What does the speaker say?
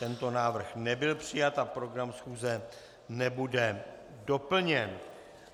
Tento návrh nebyl přijat a program schůze nebude doplněn.